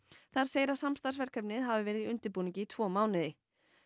þar segir að samstarfsverkefnið hafi verið í undirbúningi í tvo mánuði